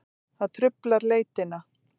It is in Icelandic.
Það truflar leitina.